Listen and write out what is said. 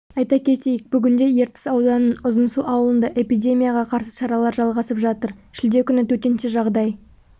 айта кетейік бүгінде ертіс ауданының ұзынсу ауылында эпидемияға қарсы шаралар жалғасып жатыр шілде күні төтенше жағдай